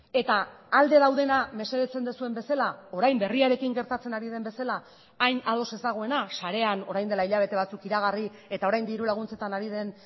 eta alde daudena mesedetzen duzuen bezala orain berriarekin gertatzen ari den bezala hain ados ez dagoena sarean orain dela hilabete batzuk iragarri eta orain dirulaguntzetan ari den